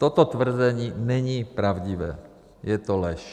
Toto tvrzení není pravdivé, je to lež.